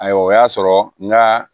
Ayiwa o y'a sɔrɔ n ka